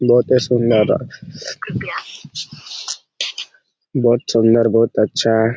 बहुते सुंदर बहुत सुन्दर बहुत अच्छा है।